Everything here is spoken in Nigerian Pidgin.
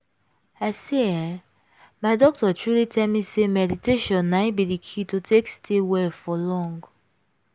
i say eeh my doctor truely tell me say meditation na in be the key to take stay well for long.